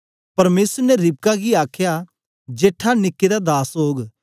परमेसर ने रिबका गी आखया जेठा निके दा दास ओग